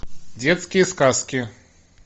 детские сказки